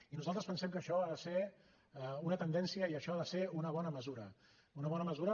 i nosaltres pensem que això ha de ser una tendència i això ha de ser una bona mesura una bona mesura